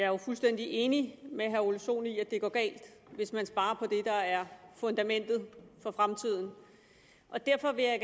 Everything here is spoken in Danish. jo fuldstændig enig med herre ole sohn i at det går galt hvis man sparer på det der er fundamentet for fremtiden derfor vil jeg